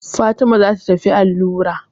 Fatima za ta tafi allura.